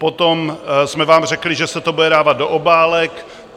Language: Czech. Potom jsme vám řekli, že se to bude dávat do obálek.